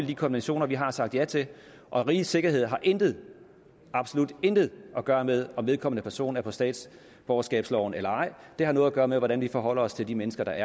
de konventioner vi har sagt ja til og rigets sikkerhed har intet absolut intet at gøre med om vedkommende person er på statsborgerskabsloven eller ej det har noget at gøre med hvordan vi forholder os til de mennesker der